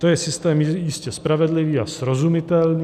To je systém jistě spravedlivý a srozumitelný.